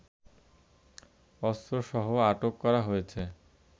অস্ত্রসহ আটক করা হয়েছে